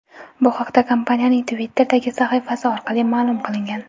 Bu haqda kompaniyaning Twitter’dagi sahifasi orqali ma’lum qilingan .